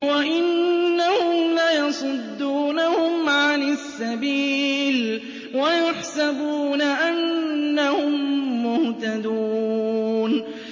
وَإِنَّهُمْ لَيَصُدُّونَهُمْ عَنِ السَّبِيلِ وَيَحْسَبُونَ أَنَّهُم مُّهْتَدُونَ